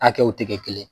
Hakɛw tɛ kɛ kelen ye